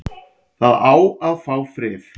Það á að fá frið